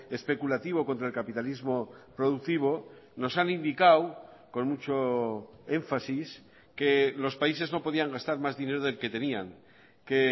especulativo contra el capitalismo productivo nos han indicado con mucho énfasis que los países no podían gastar más dinero del que tenían que